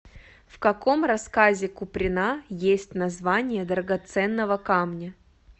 в каком рассказе куприна есть название драгоценного камня